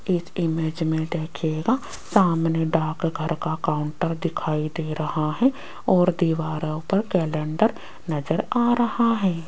एक इमेज में देखिएगा सामने डाकघर का काउंटर दिखाई दे रहा है और दीवारों पर कैलेंडर नजर आ रहा है।